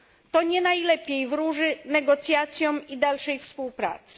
To nie najlepiej wróży negocjacjom i dalszej współpracy.